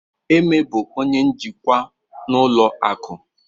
Eme bụ onye njikwa n'ụlọ akụ.